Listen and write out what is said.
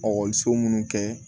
munnu kɛ